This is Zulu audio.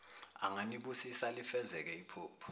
anganibusisa lifezeke iphupho